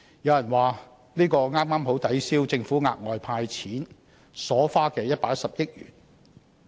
有人認為，這剛好抵銷政府額外"派錢"所花的110億元。